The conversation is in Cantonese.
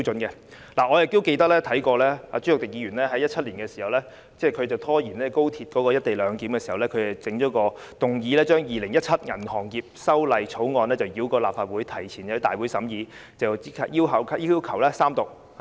我記得朱凱廸議員在2017年拖延高鐵"一地兩檢"的時候曾提出一項議案，要求把《2017年銀行業條例草案》繞過內會，提前在大會審議及立即要求三讀。